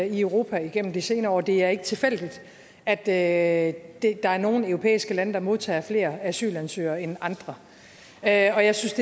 i europa igennem de senere år det er ikke tilfældigt at at der er nogle europæiske lande der modtager flere asylansøgere end andre og jeg synes